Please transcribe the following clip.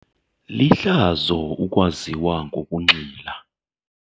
Lihlazo ukwaziwa ngokunxila.